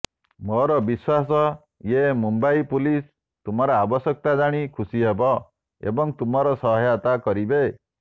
ମୋର ବିଶ୍ୱାସ ୟେ ମୁମ୍ବାଇ ପୁଲିସ ତୁମର ଆବଶ୍ୟକତା ଜାଣି ଖୁସି ହେବେ ଏବଂ ତୁମର ସହାୟତା କରିବେ